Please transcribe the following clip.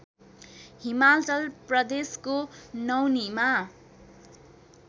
हिमाचल प्रदेशको नौनीमा